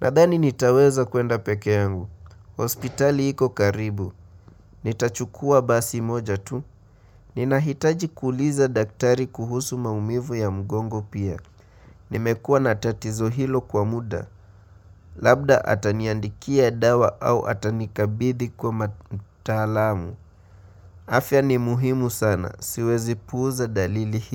Nadhani nitaweza kuenda peke yangu. Hospitali iko karibu. Nitachukua basi moja tu. Ninahitaji kuuliza daktari kuhusu maumivu ya mgongo pia. Nimekuwa na tatizo hilo kwa muda. Labda ataniandikia dawa au atanikabidhi kwa mataalamu. Afya ni muhimu sana. Siwezi puuza dalili hizi.